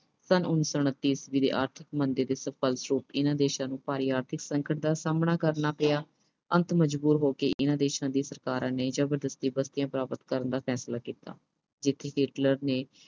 ਸੰਨ ਉਨੀ ਸੌ ਉਨੱਤੀ ਈਸਵੀ ਦੀ ਆਰਥਿਕ ਮੰਦੀ ਦੇ ਫਲਸਰੂਪ ਇਨ੍ਹਾਂ ਦੇਸ਼ਾਂ ਨੂੰ ਭਾਰੀ ਆਰਥਿਕ ਸੰਕਟ ਦਾ ਸਾਹਮਣਾ ਕਰਨਾ ਪਿਆ। ਅੰਤ ਮਜ਼ਬੂਰ ਹੋ ਕਿ ਇਨ੍ਹਾਂ ਦੇਸ਼ਾਂ ਦੀਆਂ ਸਰਕਾਰਾਂ ਨੇ ਜ਼ਬਰਦਸਤੀ ਬਸਤੀਆਂ ਪ੍ਰਾਪਤ ਕਰਨ ਦਾ ਫੈਸਲਾ ਕੀਤਾ।